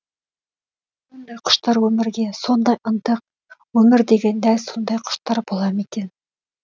сондай құштар өмірге сондай ынтық өмір де оған дәл сондай құштар ма екен